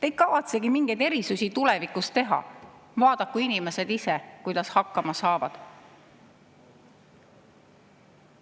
Ei kavatsetagi mingeid erisusi tulevikus teha, vaadaku inimesed ise, kuidas hakkama saavad.